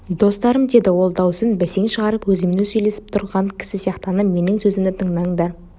достарым деді ол дауысын бәсең шығарып өзімен өзі сөйлесіп тұрған кісі сияқтанып менің сөзімді тыңдаңдар